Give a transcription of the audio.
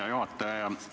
Hea juhataja!